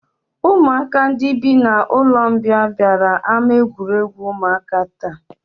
Ụmụaka ndị bi n'ụlọmbịa bịara ama egwuregwu ụmụaka taa